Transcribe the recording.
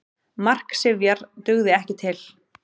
Mark Sifjar dugði ekki til